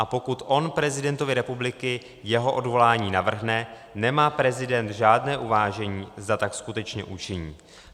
A pokud on prezidentovi republiky jeho odvolání navrhne, nemá prezident žádné uvážení, zda tak skutečně učiní.